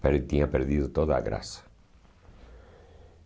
Mas tinha perdido toda a graça.